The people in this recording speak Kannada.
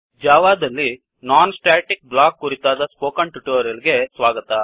ಜಾವಾ ದಲ್ಲಿ non static block non static block ಕುರಿತಾದ ಸ್ಪೋಕನ್ ಟ್ಯುಟೋರಿಯಲ್ ಗೆ ಸ್ವಾಗತ